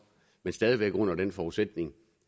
men stadig væk under den forudsætning